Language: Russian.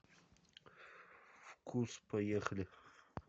вкус поехали